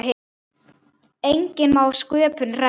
Enginn má sköpum renna.